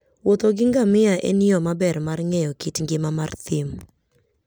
Wuotho gi ngamia en yo maber mar ng'eyo kit ngima mar thim.